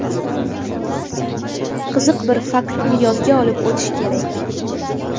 Qiziq bir faktni yodga olib o‘tish kerak.